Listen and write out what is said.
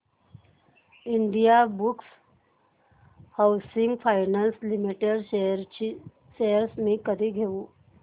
Indiabulls housing finance limited shares मी कधी घेऊ